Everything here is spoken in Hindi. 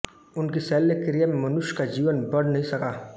उनकी शल्यक्रिया में मनुष्य का जीवन बढ़ नहीं सका